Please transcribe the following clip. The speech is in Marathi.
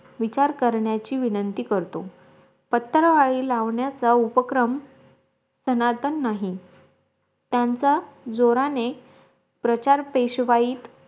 विचार करण्याची विनंती करतो पत्रावळी लावण्याचा उपक्रम तनतान् नाही त्यांचा जोराने प्रचार पेशवाईत